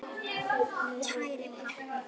Kæri pabbi.